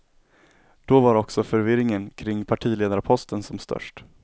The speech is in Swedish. Då var också förvirringen kring partiledarposten som störst.